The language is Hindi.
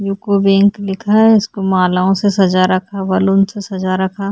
यूके बैंक लिखा है जिसको मालाओ सजा रखा बलून से सजा रखा--